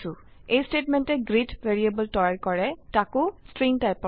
এই স্টেটমেন্টে greet variable তৈয়াৰ কৰে তাকো ষ্ট্ৰিং টাইপৰ